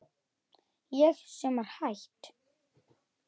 Ég sem var hætt.